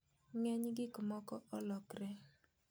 Ng'eny gikmoko olokre.